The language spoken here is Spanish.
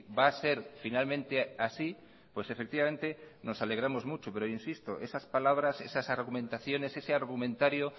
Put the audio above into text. va a ser finalmente así pues efectivamente nos alegramos mucho pero insisto esas palabras esas argumentaciones ese argumentario